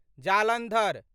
Jalandhar